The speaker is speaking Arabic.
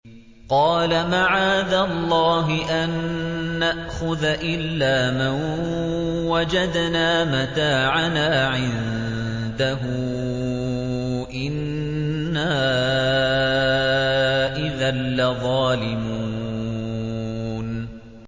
قَالَ مَعَاذَ اللَّهِ أَن نَّأْخُذَ إِلَّا مَن وَجَدْنَا مَتَاعَنَا عِندَهُ إِنَّا إِذًا لَّظَالِمُونَ